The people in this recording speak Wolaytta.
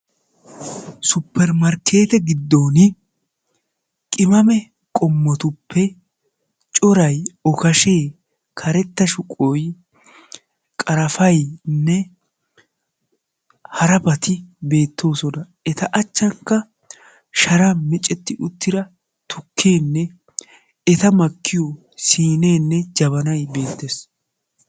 Supermarkkeette giddon qimane qommotuppe corayi okashee, karetta shuqoyi, qarafaynne harabati beettoosona. Eta achchaanikka sharan micetti uttida tukkeenne eta makkiyo siineenne jabanayi beettes.